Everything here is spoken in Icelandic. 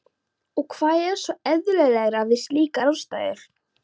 Og hvað var svo sem eðlilegra við slíkar aðstæður?